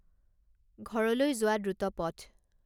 ঘৰলৈ যোৱা দ্ৰুত পথ